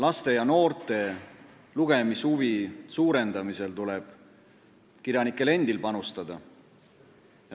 Laste ja noorte lugemishuvi suurendamisel tuleb kirjanikel endil panustada.